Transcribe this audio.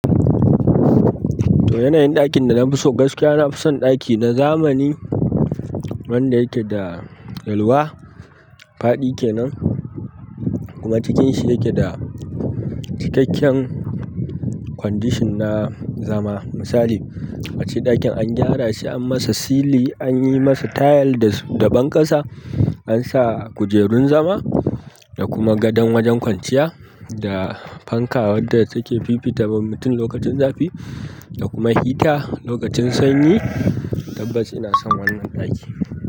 To, yanayin ɗakin da na fi so gaskiya, na fi son ɗaki na zamani wanda yake da yalwa. Faɗi ke nan, kuma cikin shi yake da cikakken condition na zama. Misali, ace ɗakin an gyara shi, an masa sili, an yi masa tayal da, da ɓanƙasa, an sa kujerun zama da kuma gadon wajen kwanciya da fanka wadda take fifita wa mutum lokacin zafi da kuma hita lokacin sanyi. Tabbas ina son wannan ɗaki.